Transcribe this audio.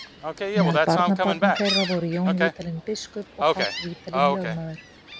Meðal barnabarna þeirra voru Jón Vídalín biskup og Páll Vídalín lögmaður.